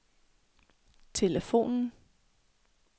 telefonen